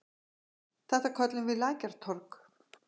Þetta köllum við Lækjartorg.